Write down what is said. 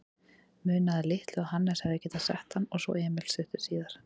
Munaði litlu að Hannes hefði getað sett hann og svo Emil stuttu síðar.